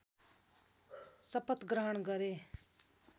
शपथग्रहण गरे